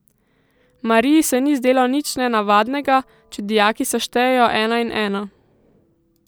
Mariji se ni zdelo nič nenavadnega, če dijaki seštejejo ena in ena.